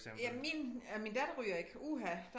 Ja min øh min datter ryger ikke uha